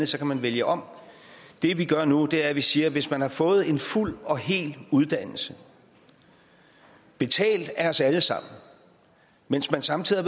så kan man vælge om det vi gør nu er at vi siger hvis man har fået en fuld og hel uddannelse betalt af os alle sammen mens man samtidig